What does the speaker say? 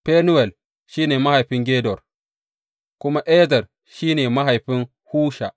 Fenuwel shi ne mahaifin Gedor, kuma Ezer shi ne mahaifin Husha.